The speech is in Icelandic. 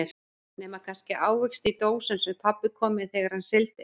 Nema kannski ávexti í dósum sem pabbi kom með þegar hann sigldi.